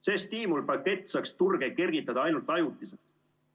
See stiimulpakett saaks turge kergitada ainult ajutiselt.